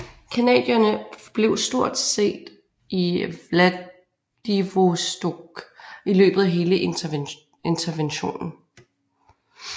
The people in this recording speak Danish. Canadierne forblev stort set i Vladivostok i løbet af hele interventionen